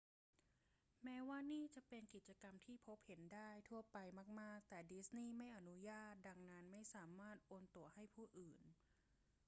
แม้ว่านี่จะเป็นกิจกรรมที่พบเห็นได้ทั่วไปมาก ๆ แต่ดิสนีย์ไม่อนุญาต ดังนั้น ไม่สามารถโอนตั๋วให้ผู้อื่น